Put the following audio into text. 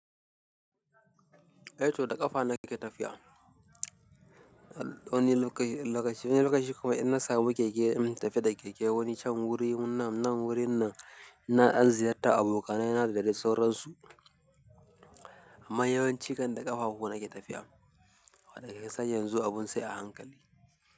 Eh to da ƙafa na ke tafiya. Wani lokaci, wani lokaci kuma in na samu keke in tafi da keke. Koni san wurin nan, nan wurin na, ina ziyarta abokanai na da dai sauransu. Amma yawanci kan da ƙafa fu na ke tafiya. Wannan shekarar yanzu abun sai a hankali.